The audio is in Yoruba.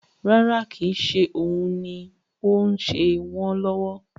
Rárá, kò ń ṣe òun ni ó ń ṣe wọn lọ́wọ́